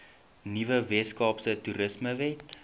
nuwe weskaapse toerismewet